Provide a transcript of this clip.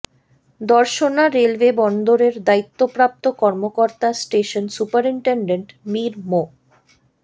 Darshana railway বন্দরের দায়িত্বপ্রাপ্ত কর্মকর্তা স্টেশন সুপারিনটেনডেন্ট মীর মো